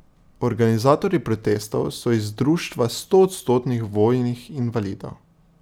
Organizatorji protestov so iz društva stoodstotnih vojnih invalidov.